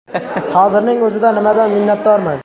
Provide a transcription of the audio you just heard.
Hozirning o‘zida nimadan minnatdorman?